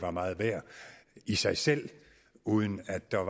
er meget værd i sig selv uden at der